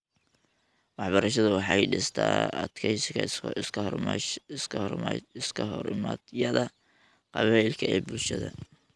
Waxbarashadu waxay dhistaa adkeysiga iskahorimaadyada qabaa'ilka ee bulshada .